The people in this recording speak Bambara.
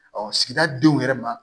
sigida denw yɛrɛ ma